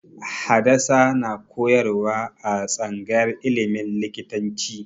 Hadasa na koyarwa a tsangayar ilimin likitanci